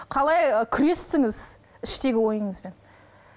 қалай күрестіңіз іштегі ойыңызбен